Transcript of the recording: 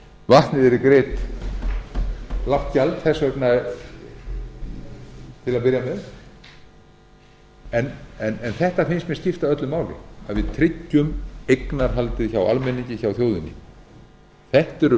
vatnið yrði greitt lágt gjald þess vegna til að byrja með en þetta finnst mér skipta öllu máli að við tryggjum eignarhaldið hjá almenningi hjá þjóðinni þetta eru